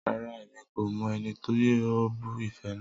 Rara, Emi ko mọ ẹni ti o bu ife naa.